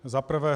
Za prvé.